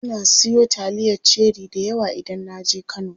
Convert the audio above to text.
Ina siyo taliyar cherie dayawa idan naje kano.